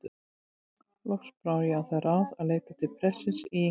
Loks brá ég á það ráð að leita til prestsins í